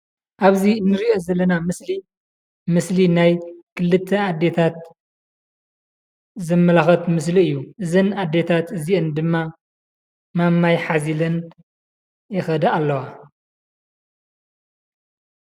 ኣብዚ እንሪኦ ዘለና ምስሊ፣ ምስሊ ናይ ክልተ ኣዴታት ዘመላክት ምስሊ እዩ። እዘን ኣዴታት እዚኤን ድማ ማማይ ሓዚለን ይኸዳ ኣለዋ።